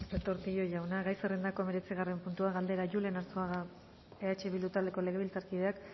retortillo jauna gai zerrendako hemeretzigarren puntua gai zerrendako hemeretzigarren puntua galdera julen arzuaga gumuzio eh bildu taldeko legebiltzarkideak